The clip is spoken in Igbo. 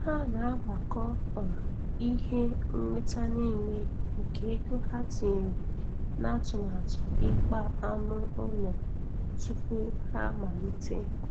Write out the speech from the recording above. Ha na-agbakọ um ihe.nnweta nile nke ego ha tinyere n'atụmatụ ikpa anụ ụlọ tupu ha amalite.